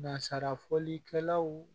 Nasara fɔlikɛlaw